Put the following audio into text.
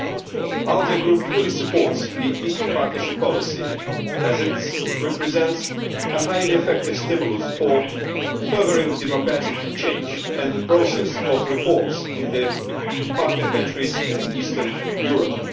The ALDE Group fully supports the Eastern Partnership policy, as it represents a highly effective stimulus for furthering democratic change and the process of reform in the partner countries in Eastern Europe.